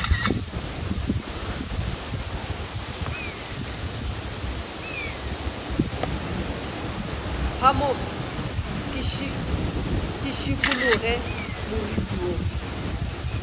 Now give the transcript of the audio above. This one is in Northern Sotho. phamoge ke šikologe moriti wo